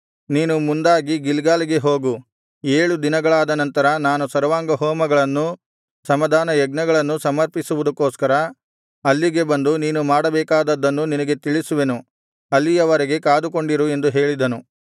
ನೀನು ಮುಂದಾಗಿ ಗಿಲ್ಗಾಲಿಗೆ ಹೋಗು ಏಳು ದಿನಗಳಾದ ನಂತರ ನಾನು ಸರ್ವಾಂಗಹೋಮಗಳನ್ನೂ ಸಮಾಧಾನಯಜ್ಞಗಳನ್ನೂ ಸಮರ್ಪಿಸುವುದಕ್ಕೋಸ್ಕರ ಅಲ್ಲಿಗೆ ಬಂದು ನೀನು ಮಾಡಬೇಕಾದದ್ದನ್ನು ನಿನಗೆ ತಿಳಿಸುವೆನು ಅಲ್ಲಿಯ ವರೆಗೆ ಕಾದುಕೊಂಡಿರು ಎಂದು ಹೇಳಿದನು